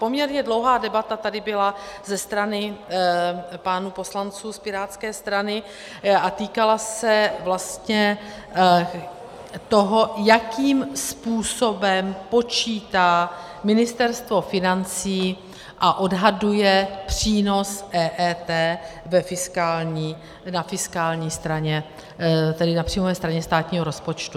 Poměrně dlouhá debata tady byla ze strany pánů poslanců z pirátské strany a týkala se vlastně toho, jakým způsobem počítá Ministerstvo financí a odhaduje přínos EET na fiskální straně, tedy na příjmové straně státního rozpočtu.